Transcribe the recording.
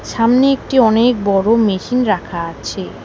সামনে একটি অনেক বড় মেশিন রাখা আছে।